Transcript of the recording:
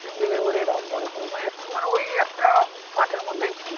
তিন বিঘা করে এরকম করে করে মানে একটু মানে ওই একটা মাঠের মধ্যেই ছিল